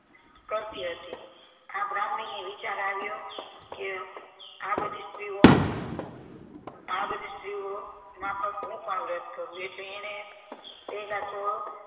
કરતી હતી આ બ્રહ્માણીને વિચાર આવ્યો કે આ બધી સ્ત્રીઓ આ બધી સ્ત્રીઓ માફક હું પણ વ્રત કરું એટલે એણે તેના તો